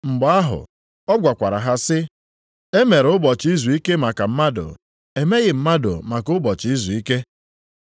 Mgbe ahụ, ọ gwakwara ha sị, “E mere ụbọchị izuike maka mmadụ, emeghị mmadụ maka ụbọchị izuike.”